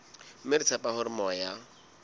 mme re tshepa hore moya